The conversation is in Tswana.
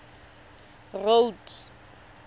road